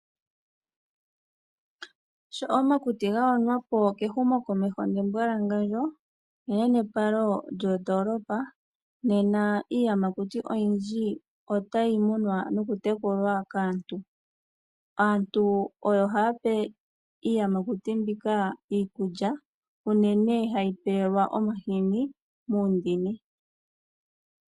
Sho omakuti gayonwa po kehumokomeho nembwalangandjo neyopalo lyoondoolopa. Nena iiyamakuti oyindji otayi munwa nokutekulwa kaantu. Aantu oyo haya pe iiyamakuti mbika iikulya unene hayi pelwa omahini muundini.